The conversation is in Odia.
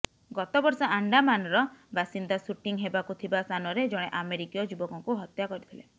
ଗତ ବର୍ଷ ଆଣ୍ଡାମାନର ବାସିନ୍ଦା ସୁଟିଂ ହେବାକୁ ଥିବା ସ୍ଥାନରେ ଜଣେ ଆମେରିକୀୟ ଯୁବକଙ୍କୁ ହତ୍ୟା କରିଥିଲେ